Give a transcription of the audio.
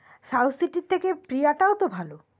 Southcity র থেকে Priya টাও প্রিয়া তো ভালো